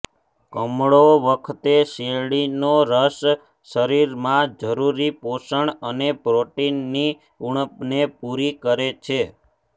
કમળો વખતે શેરડીનો રસ શરીરમાં જરૂરી પોષણ અને પ્રોટીનની ઉણપને પૂરી કરે છે